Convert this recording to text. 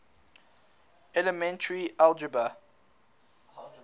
elementary algebra